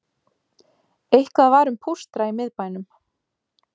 Eitthvað var um pústra í miðbænum